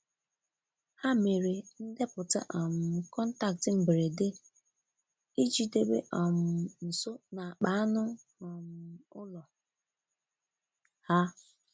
Ha mere ndeputa um kọntaktị mgberede iji debe um nso n'akpa ańu um ụlọ ha.